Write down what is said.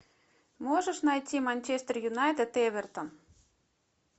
можешь найти манчестер юнайтед эвертон